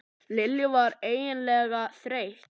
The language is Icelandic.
Lilla var ægilega þreytt.